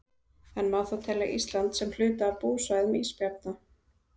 En má þá telja Ísland sem hluta af búsvæðum ísbjarna?